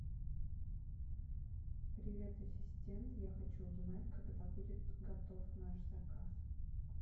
привет ассистент я хочу узнать когда будет готов наш заказ